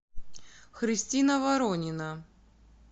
христина воронина